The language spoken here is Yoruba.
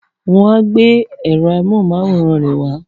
Wọ́n á gbé èrò amóhunmáwòrán rẹ̀